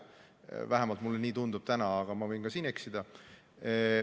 Vähemalt mulle nii tundub täna, aga ma võin siin eksida.